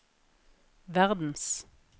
verdens